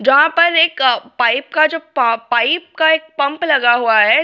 जहां पर एक पाइप का जो पाइप का एक पंप लगा हुआ है।